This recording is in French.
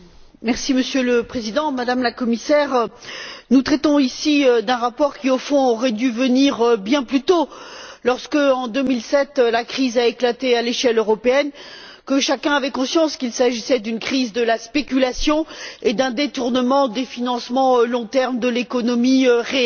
Monsieur le Président, Madame la Commissaire, nous traitons ici d'un rapport qui au fond aurait dû venir bien plus tôt, lorsqu'en 2007, la crise a éclaté à l'échelle européenne et que chacun avait conscience qu'il s'agissait d'une crise de la spéculation et d'un détournement des financements à long terme de l'économie réelle.